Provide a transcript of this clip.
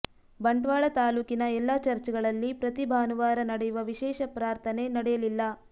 ಬಂಟ್ವಾಳ ತಾಲೂಕಿನ ಎಲ್ಲ ಚರ್ಚ್ ಗಳಲ್ಲಿ ಪ್ರತಿ ಭಾನುವಾರ ನಡೆಯುವ ವಿಶೇಷ ಪ್ರಾರ್ಥನೆ ನಡೆಯಲಿಲ್ಲ